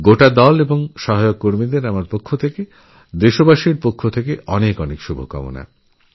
পুরো টিম ও সাপোর্ট স্টাফদের আমার ওদেশবাসীর তরফ থেকে অনেক অনেক শুভেচ্ছা